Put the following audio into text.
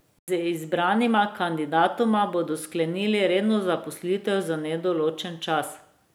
Z izbranima kandidatoma bodo sklenili redno zaposlitev za nedoločen čas.